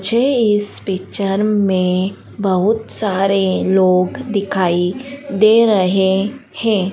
मुझे इस पिक्चर में बहुत सारे लोग दिखाई दे रहे हैं।